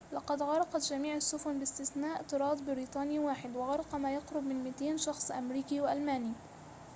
لقد غرقت جميع السفن باستثناء طراد بريطاني واحد وغرق وما يقرب من 200 شخص أمريكي وألماني